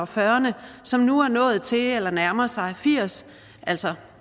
fyrrerne som nu er nået til eller nærmer sig firs år altså